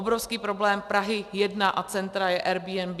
Obrovský problém Prahy 1 a centra je Airbnb.